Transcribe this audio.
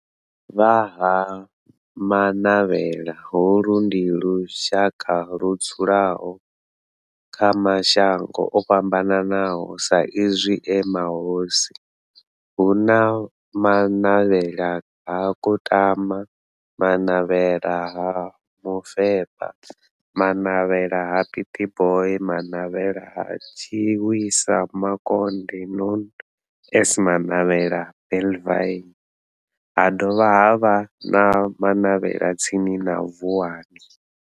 Vha Ha-Manavhela, holu ndi lushaka ludzula kha mashango ofhambanaho sa izwi e mahosi, hu na Manavhela ha Kutama, Manavhela ha Mufeba, Manavhela ha Pietboi na Manavhela ha Tshiwisa Mukonde known as Manavhela Benlavin, ha dovha havha na Manavhela tsini na Vuwani.